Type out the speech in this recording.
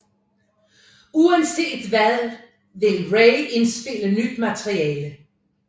Uanset hvad vil Ray indspille nyt materiale